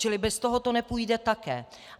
Čili bez toho to nepůjde také.